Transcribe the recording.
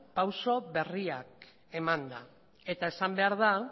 pausu berriak emanda eta esan behar da